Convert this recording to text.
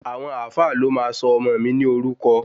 Àwọn Alfa ló máa sọ ọmọ mi ní orúkọ